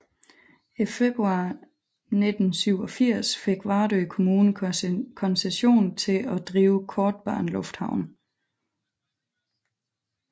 I februar 1987 fik Vardø Kommune koncession til drive kortbanelufthavn